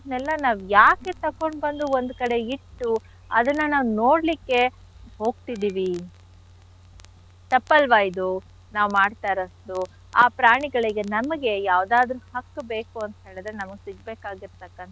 ನಾವ್ ಯಾಕೆ ತಕೊಂಡ್ ಬಂದು ಒಂದ್ ಕಡೆ ಇಟ್ಟು ಅದನ್ನ ನಾವ್ ನೋಡ್ಲಿಕ್ಕೆ ಹೋಗ್ತಿದಿವಿ ತಪ್ಪಲ್ವ ಇದು ನಾವ್ ಮಾಡ್ತಾ ಇರೋದು ಆ ಪ್ರಾಣಿಗಳಿಗೆ ನಮ್ಗೆ ಯಾವ್ದಾದ್ರು ಹಕ್ಕ್ ಬೇಕು ಅಂತ್ ಹೇಳಿದ್ರೆ ನಮ್ಗ್ ಸಿಗ್ಬೇಕಾಗಿರ್ತಕ್ಕಂಥದ್ದೇನು.